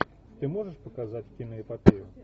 ты можешь показать киноэпопею